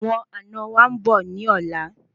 Àwọn àna wa nbọ ni ọlá